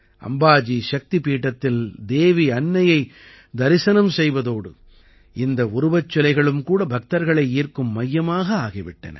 அம்பாஜி சக்திபீடத்தில் தேவி அன்னையை தரிசனம் செய்வதோடு இந்த உருவச்சிலைகளும் கூட பக்தர்களை ஈர்க்கும் மையமாக ஆகி விட்டன